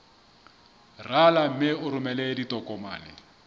rala mme o romele ditokomene